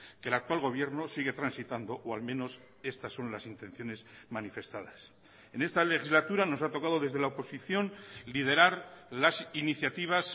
que el actual gobierno sigue transitando o al menos estas son las intenciones manifestadas en esta legislatura nos ha tocado desde la oposición liderar las iniciativas